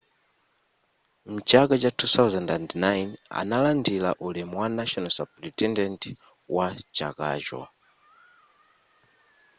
mchaka cha 2009 analandira ulemu wa national superintendent wa chakacho